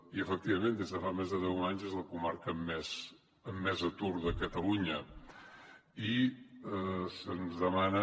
i efectivament des de fa més de deu anys és la comarca amb més atur de catalunya i se’ns demana